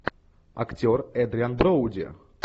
актер эдриан броуди